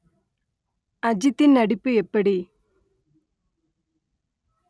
அஜித்தின் நடிப்பு எப்படி